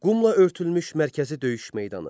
Qumla örtülmüş mərkəzi döyüş meydanı.